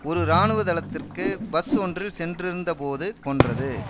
ஒரு இராணுவ தளத்திற்கு பஸ் ஒன்றில் சென்றிருந்தபோது கொன்றது